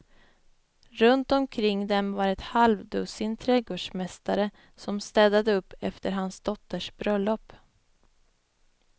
Runt omkring dem var ett halvdussin trädgårdsmästare som städade upp efter hans dotters bröllop.